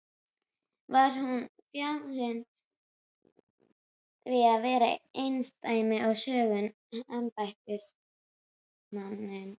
Var hún fjarri því að vera einsdæmi að sögn embættismannsins.